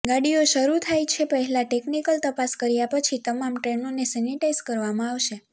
ગાડીઓ શરૂ થાય તે પહેલા ટેકનીકલ તપાસ કર્યા પછી તમામ ટ્રેનોને સેનેટાઈઝ કરવામાં આવશે